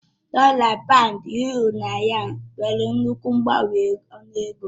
Dọla, Pàund, Yuro na Yén nwere nnukwu mgbanwe ọnụ ego